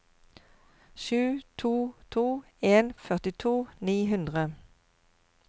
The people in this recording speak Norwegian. sju to to en førtito ni hundre